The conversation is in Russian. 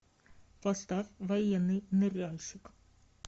поставь военный ныряльщик